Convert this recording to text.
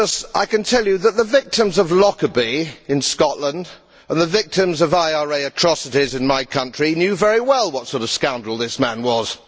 I can tell you that the victims of Lockerbie in Scotland and the victims of IRA atrocities in my country knew very well what sort of scoundrel this man was.